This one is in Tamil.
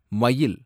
மயில்